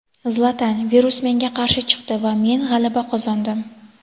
Zlatan: Virus menga qarshi chiqdi va men g‘alaba qozondim.